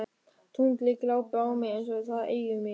Tunglið glápir á mig eins og það eigi mig.